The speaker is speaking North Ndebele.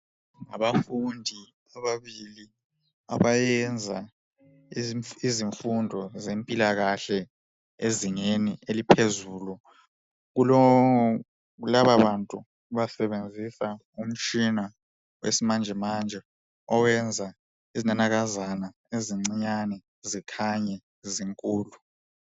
Abafundi ababili abayenza izimfundo zempilakahle ezingeni eliphezulu Kulababantu basebenzisa umtshina wesimanjemanje owenza izinanakazana ezincinyane zikhanye zinkulu